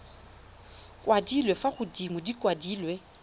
kwadilwe fa godimo di kwadilwe